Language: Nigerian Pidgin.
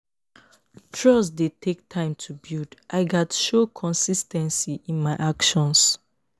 trust dey take time to build; i gats show consis ten cy in my actions.